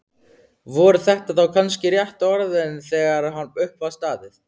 Voru þetta þá kannski réttu orðin þegar upp var staðið?